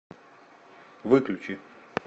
выключи